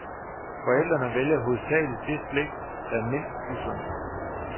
Forældrene vælger hovedsageligt det slik, der er mindst usundt.